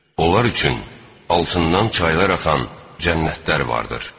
Onlar üçün altından çaylar axan cənnətlər vardır.